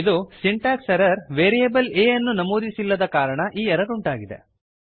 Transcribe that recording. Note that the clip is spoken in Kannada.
ಇದು ಸಿಂಟಾಕ್ಸ್ ಎರ್ರರ್ ವೇರಿಯೇಬಲ್ a ಅನ್ನು ನಮೂದಿಸಿಲ್ಲದ ಕಾರಣ ಈ ಎರರ್ ಉಂಟಾಗಿದೆ